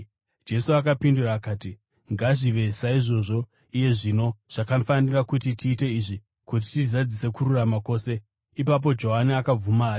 Jesu akapindura akati, “Ngazvive saizvozvo iye zvino; zvakafanira kuti tiite izvi kuti tizadzise kururama kwose.” Ipapo Johani akabvuma hake.